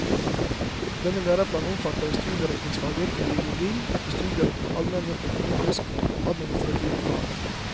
Denne læreplanen omfatter studieretningsfaget biologi i studieretning for allmenne, økonomiske og administrative fag.